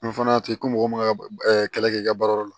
N fana y'a to yen ko mɔgɔ man kan ka kɛlɛ kɛ i ka baara yɔrɔ la